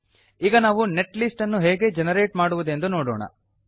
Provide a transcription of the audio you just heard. ಈಗ ನಾವು net list ಅನ್ನು ಹೇಗೆ ಜೆನರೇಟ್ ಮಾಡುವುದೆಂದು ನೋಡೋಣ